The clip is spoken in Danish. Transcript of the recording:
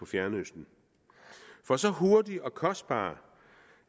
fjernøsten for så hurtig og kostbar